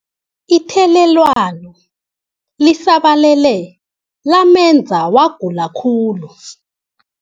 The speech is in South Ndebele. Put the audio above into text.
Ithelelwano lisabalele lamenza wagula khulu.